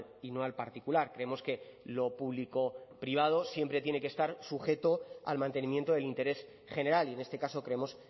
y no al particular creemos que lo público privado siempre tiene que estar sujeto al mantenimiento del interés general y en este caso creemos